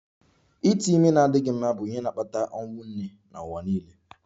Ite ime na-adịghị mma bụ ihe na-akpata ọnwụ nne n'ụwa niile